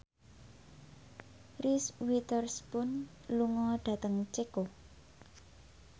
Reese Witherspoon lunga dhateng Ceko